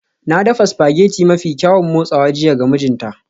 Na dafa spaghetti mafi kyaun motsawa jiya ga mijina